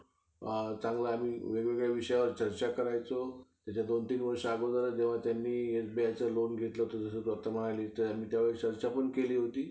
अह features चांगला आहेत त्याच्यात.